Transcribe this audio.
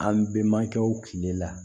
An bɛnbakɛw kile la